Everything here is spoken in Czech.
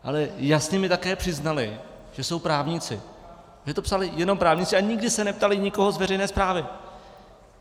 Ale jasně mi také přiznali, že jsou právníci, že to psali jenom právníci a nikdy se neptali nikoho z veřejné správy.